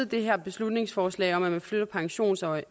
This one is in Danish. det her beslutningsforslag om at flytte pensionsalderen